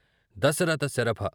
Dasharatha ! Sharabha !